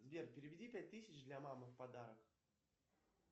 сбер переведи пять тысяч для мамы в подарок